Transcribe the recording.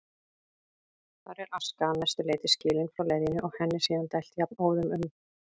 Þar er aska að mestu leyti skilin frá leðjunni og henni síðan dælt jafnóðum um